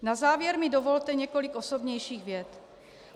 Na závěr mi dovolte několik osobnějších vět.